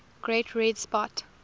great red spot